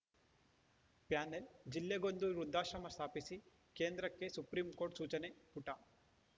panel ಜಿಲ್ಲೆಗೊಂದು ವೃದ್ಧಾಶ್ರಮ ಸ್ಥಾಪಿಸಿ ಕೇಂದ್ರಕ್ಕೆ ಸುಪ್ರೀಂ ಸೂಚನೆ ಪುಟ